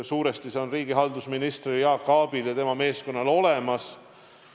Suuresti on see riigihalduse minister Jaak Aabil ja tema meeskonnal olemas.